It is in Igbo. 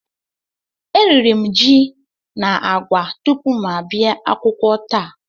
E riri ji na agwa tupu m abịa akwụkwọ taa